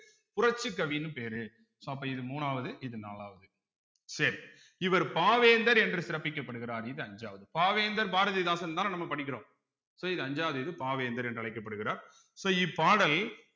புரட்சிக்கவின்னு பேரு so அப்ப இது மூணாவது இது நாலாவது சரி இவர் பாவேந்தர் என்று சிறப்பிக்கப்படுகிறார் இது அஞ்சாவது பாவேந்தர் பாரதிதாசன்தானே நம்ம படிக்கிறோம் so இது அஞ்சாவது இது பாவேந்தர் என்று அழைக்கப்படுகிறார் so இப்பாடல்